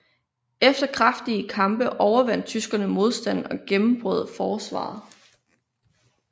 Efter kraftige kampe overvandt tyskerne modstanden og gennembrød forsvaret